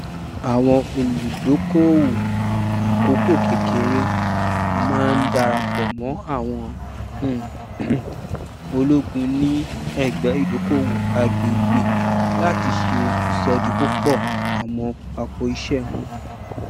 àwọn olùdókòowó àkókòkékèré máa ń darapọ mọ àwọn um ológun ní ẹgbẹ ìdókòowó àgbègbè láti ṣe ìṣòdípòpọ àwọn apòìṣé wọn